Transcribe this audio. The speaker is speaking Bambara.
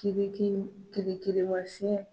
Kiriki kirikirimasiɲɛ.